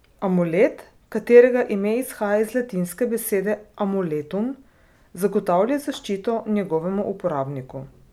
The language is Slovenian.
Amulet, katerega ime izhaja iz latinske besede amuletum, zagotavlja zaščito njegovemu uporabniku.